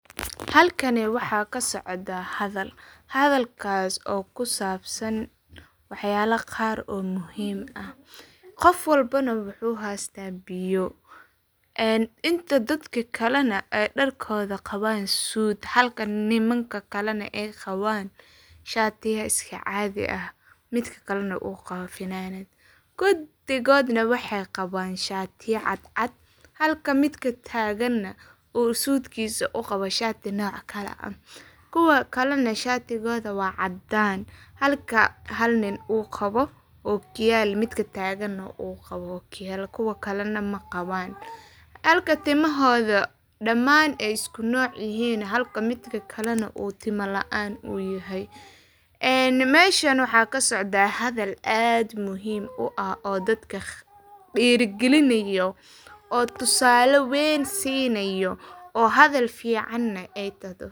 Halkani waxa kasocda hadal, hadalkasi oo ku sabsan wax yala qaar oo muhim ah. Qof walbana wuxu hesta biyo inta dadka kalena ay qawan dharkodha suud halka nimanka kalena ay qawan shatiya iska cadhi ah. Midka kalena u qawo funanad ,kudigodna ay qawan shatiya cadcad, halka midka tagana uu suudkisa u qawa shati nooc kala ah. Kuwaa kalena shatigodha waa cadan halka hal nin u qawo okiyal kuwa kalena tagan qawan okiyaal kuwana ma qawan, halka timahodha damaan ay isku nooc yihin ,halka midka kalena uu timo laan u yahay. Meshan waxa kasocda hadal aad muhim u ah dadka dhiragelinayo oo tusale weyn sinayo oo hadhal ficana ay tahdo.